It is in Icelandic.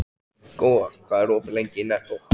Góa, hvað er opið lengi í Nettó?